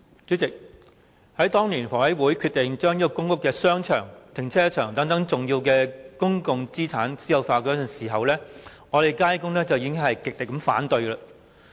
主席，當年香港房屋委員會決定將商場、停車場等重要的公共資產私有化時，我們街工已經極力反對。